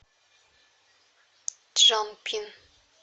чжанпин